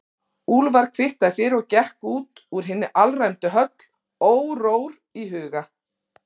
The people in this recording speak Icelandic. Úlfar kvittaði fyrir og gekk út úr hinni alræmdu höll órór í huga.